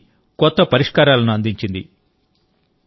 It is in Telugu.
దేశానికి కొత్త పరిష్కారాలను అందించింది